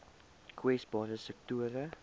kwesbare sektore